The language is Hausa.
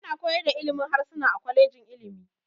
Ana koyar da ilimin harsuna a kwalejojin ilimi.